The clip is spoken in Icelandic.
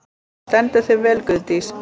Þú stendur þig vel, Guðdís!